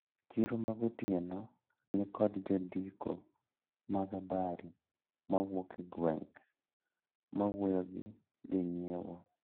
Chiro magotieno nikod jondiko mag habari mawuok e gweng`, mawuoyo gi jonyiewo.